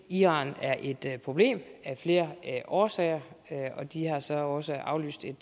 iran et problem af flere årsager og de har så også aflyst et